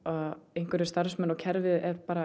einhverjir starfsmenn og kerfið er bara